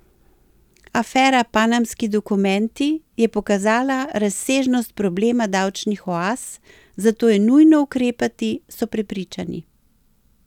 Afera Panamski dokumenti je pokazala razsežnost problema davčnih oaz, zato je nujno ukrepati, so prepričani.